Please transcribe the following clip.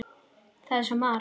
Það er svo margt.